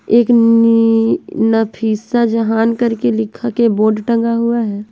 एक नी नफीसा जहान करके लिखा के बोर्ड टंगा हुआ है।